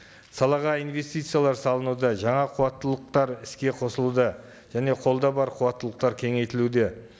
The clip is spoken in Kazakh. салаға инвестициялар салынуда жаңа қуаттылықтар іске қосылуда және қолда бар қуаттылықтар кеңейтілуде